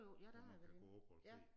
Hvor man kan gå oppe på æ tag